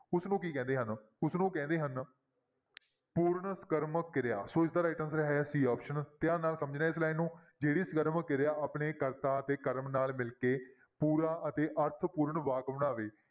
ਉਸਨੂੰ ਕੀ ਕਹਿੰਦੇ ਹਨ ਉਸਨੂੰ ਕਹਿੰਦੇ ਹਨ ਪੂਰਨ ਸਕਰਮਕ ਕਿਰਿਆ, ਸੋ ਇਸਦਾ right answer ਹੈ c option ਧਿਆਨ ਨਾਲ ਸਮਝਣਾ ਹੈ ਇਸ line ਨੂੰ ਜਿਹੜੀ ਸਕਰਮਕ ਕਿਰਿਆ ਆਪਣੇ ਕਰਤਾ ਅਤੇ ਕਰਮ ਨਾਲ ਮਿਲ ਕੇ ਪੂਰਾ ਅਤੇ ਅਰਥਪੂਰਨ ਵਾਕ ਬਣਾਵੇ,